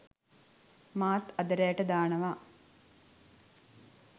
මාත් අද රෑට දානවා